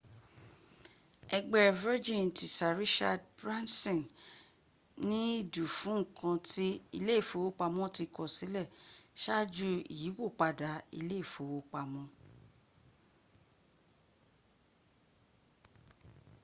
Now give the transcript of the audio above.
ẹgbẹ́ virgin ti sir richard branson ní ìdù fún ǹkan ti ilé ìfowópamọ́ ti kọ̀ sílẹ̀ ṣáájú ìyípòpadà ilé ìfowópamọ́